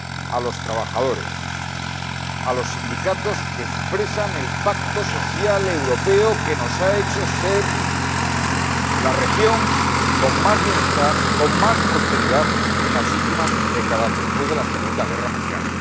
A los trabajadores, a los sindicatos que expresan el pacto social europeo que nos ha hecho ser la región con más bienestar, con más prosperidad en las últimas décadas, después de la segunda guerra mundial.